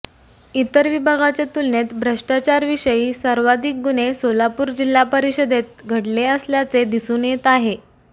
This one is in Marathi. इतर विभागाच्या तुलनेत भ्रष्टाचाराविषयी सर्वाधिक गुन्हे सोलापूर जिल्हा परिषदेत घडले असल्याचे दिसून येत आहे